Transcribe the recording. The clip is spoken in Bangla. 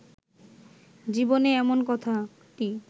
জীবনে এমন কথাটি